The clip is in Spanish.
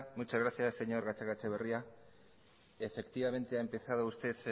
muchas gracias señor gatzagaetxebarria efectivamente ha empezado usted